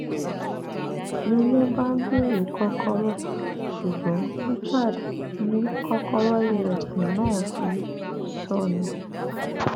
ni wọn bá béèrè kọkọrọ ṣùgbọn richard ni kọkọrọ ilẹkùn náà ti sọnù